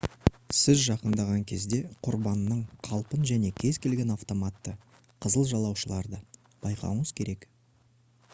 сіз жақындаған кезде құрбанның қалпын және кез келген автоматты «қызыл жалаушаларды» байқауыңыз керек